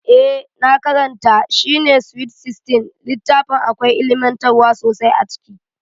Eh na karanta shi SWEET SIXTEEN, littafin akwai ilimantarwa sosai a ciki